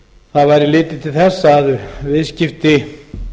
það væri litið til þess að viðskipti